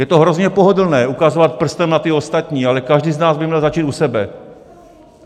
Je to hrozně pohodlné ukazovat prstem na ty ostatní, ale každý z nás by měl začít u sebe.